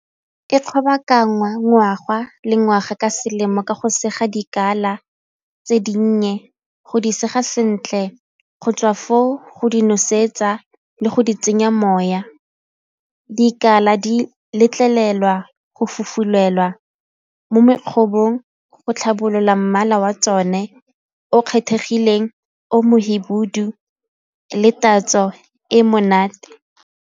E ngwaga le ngwaga ka selemo ka go sega dikala tse dinnye go di sega sentle, go tswa foo go di nosetsa le go di tsenya moya. Dikala di letlelelwa go fofulelwa mo go tlhabolola mmala wa tsone o kgethegileng o mohibidu le tatso e e monate.